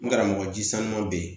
N karamɔgɔ ji saman bɛ yen